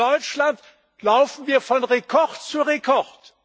In Deutschland laufen wir von Rekord zu Rekord.